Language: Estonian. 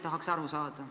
Tahaks aru saada.